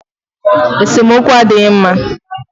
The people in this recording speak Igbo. Esemokwu adịghị mma.